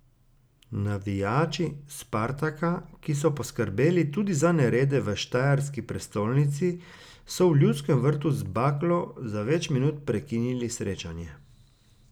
Navijači Spartaka, ki so poskrbeli tudi za nerede v štajerski prestolnici, so v Ljudskem vrtu z baklo za več minut prekinili srečanje.